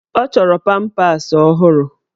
Ọ chọrọ pampas ọhụrụ.